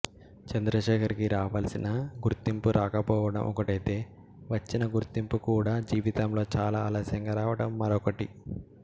చంద్రశేఖర్ కి రావలసిన గుర్తింపు రాకపోవడం ఒకటైతే వచ్చిన గుర్తింపు కూడా జీవితంలో చాలా ఆలస్యంగా రావడం మరొకటి